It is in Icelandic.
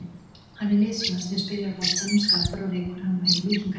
Hann er liðsmaður sem spilar boltanum, skapar og rekur hann og hefur mikinn kraft.